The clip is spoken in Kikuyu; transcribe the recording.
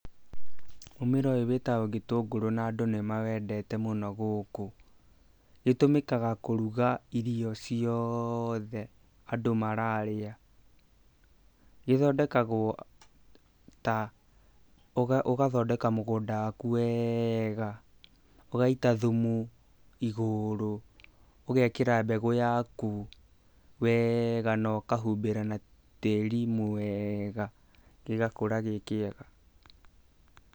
Mũmera ũyũ wĩtagwo gĩtũngũrũ na andũ nĩ mawendete mũno gũkũ. Gĩtũmĩkaga kũruga irio ciothe andũ mararĩa. Gĩthondekagwo ta, ũgathondeka mũgũnda waku wega , ũgaita thumu igũrũ, ũgekĩra mbegu yaku wega na ũkahumbĩra na tĩri mwega, gĩgakũra gĩ kĩega.